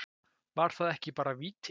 Var það ekki bara víti?